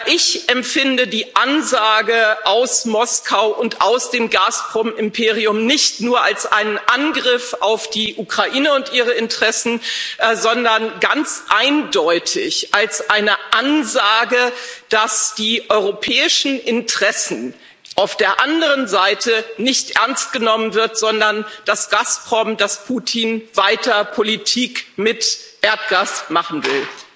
Ich empfinde die Ansage aus Moskau und aus dem Gazprom Imperium nicht nur als einen Angriff auf die Ukraine und ihre Interessen, sondern ganz eindeutig als eine Ansage, dass die europäischen Interessen auf der anderen Seite nicht ernst genommen werden, sondern dass Gazprom, dass Putin weiter Politik mit Erdgas machen will.